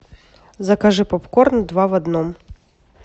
закажи попкорн два в одном